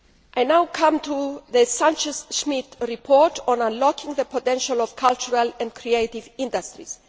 I now come to the Sanchez Schmid report on unlocking the potential of cultural and creative industries.